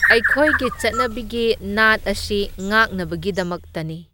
ꯑꯩꯈꯣꯏꯒꯤ ꯆꯠꯅꯕꯤꯒꯤ ꯅꯥꯠ ꯑꯁꯤ ꯉꯥꯛꯅꯕꯒꯤꯗꯃꯛꯇꯅꯤ꯫